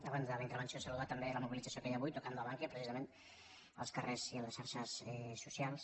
abans de la intervenció saludar també la mobilització que hi ha avui tocando a ban·kia precisament als carrers i a les xarxes socials